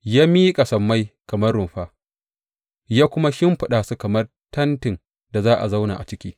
Ya miƙa sammai kamar rumfa, ya kuma shimfiɗa su kamar tentin da za a zauna a ciki.